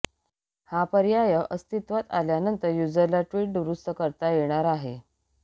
हा पर्याय अस्तित्वात आल्यानंतर यूजरला ट्वीट दुरुस्त करता येणार आहे